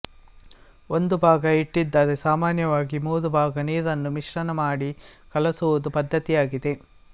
ಒಂದು ಭಾಗ ಹಿಟ್ಟಿದ್ದರೆ ಸಾಮಾನ್ಯವಾಗಿ ಮೂರು ಭಾಗ ನೀರನ್ನು ಮಿಶ್ರಣ ಮಾಡಿ ಕಲಸುವುದು ಪದ್ದತಿಯಾಗಿದೆ